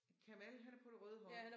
Kemal han er på det røde hold